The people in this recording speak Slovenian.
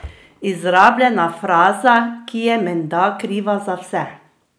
Izrabljena fraza, ki je menda kriva za vse!